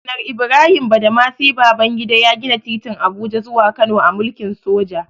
Janar Ibrahim Badamasi Babangida ya gina titin Abuja zuwa Kano a mulkin soja.